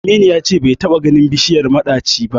Aminu ya ce bai taɓa ganin bishiyar maɗaci ba da.